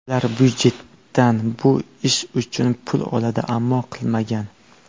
Ular byudjetdan bu ish uchun pul oladi, ammo qilmagan.